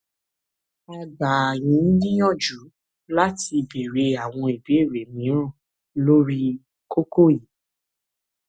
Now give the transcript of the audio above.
a gbà yín níyanjú láti béèrè àwọn ìbéèrè mìíràn lórí kókó yìí